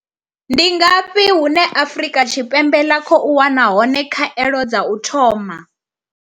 Ndi ngafhi hune Afrika Tshi Ndi ngafhi hune Afrika Tshipembe ḽa khou wana hone khaelo dza u thoma?